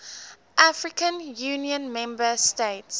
african union member states